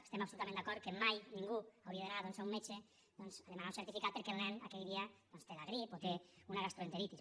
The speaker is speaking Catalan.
estem absolutament d’acord que mai ningú hauria d’anar doncs a un metge a demanar un certificat perquè el nen aquell dia té la grip o té una gastroenteritis